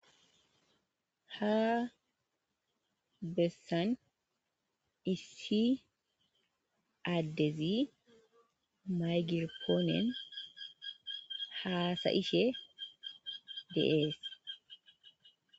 Ha bessan issi addezi maygirpooniyan haasayishe de7ees.